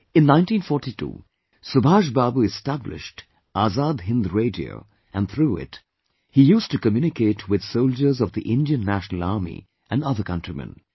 In 1942, Subhash Babu established Azad Hind Radio and through it he used to communicate with soldiers of the Indian National Army and other countrymen